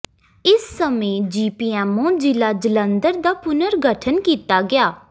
ਇਸ ਸਮੇਂ ਜੀਪੀਐੱਮਓ ਜ਼ਿਲ੍ਹਾ ਜਲੰਧਰ ਦਾ ਪੁਨਰ ਗਠਨ ਕੀਤਾ ਗਿਆ